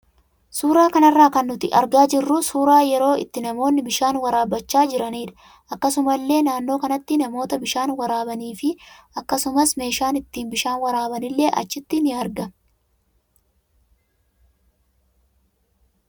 Suura kanarraa kan nuti argaa jirru suuraa yeroo itti namoonni bishaan waraabachaa jiraniidha. Akkasuma illee naannoo kanatti namoota bishaan waraabanii fi akkasumas meeshaan itti bishaan waraaban illee achitti in argama.